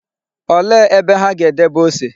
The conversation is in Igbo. Olee ebe ha ga-edebe ose?